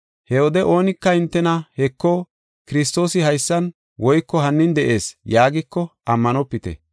“He wode oonika hintena, ‘Heko, Kiristoosi haysan’ woyko ‘Hinin de7ees’ yaagiko ammanopite.